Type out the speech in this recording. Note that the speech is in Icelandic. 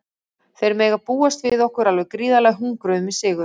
Þeir mega búast við okkur alveg gríðarlega hungruðum í sigur.